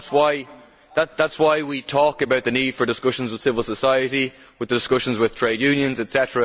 That is why we talk about the need for discussions with civil society, discussions with trade unions etc.